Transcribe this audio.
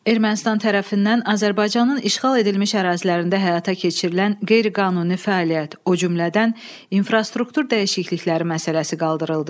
Ermənistan tərəfindən Azərbaycanın işğal edilmiş ərazilərində həyata keçirilən qeyri-qanuni fəaliyyət, o cümlədən infrastruktur dəyişiklikləri məsələsi qaldırıldı.